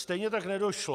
Stejně tak nedošlo...